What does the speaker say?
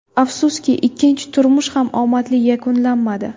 Afsuski, ikkinchi turmush ham omadli yakunlanmadi.